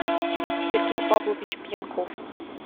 сергей павлович пьянков